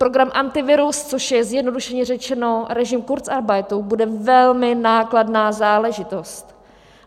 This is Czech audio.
Program Antivirus, což je zjednodušeně řečeno režim kurzarbeitu, bude velmi nákladná záležitost.